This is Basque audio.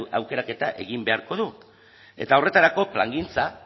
aukeraketa egin beharko du eta horretarako plangintza